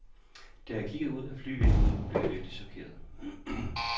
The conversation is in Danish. Da jeg kiggede ud af flyvinduet, blev jeg virkelig chokeret.